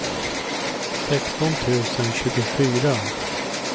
sexton tusen tjugofyra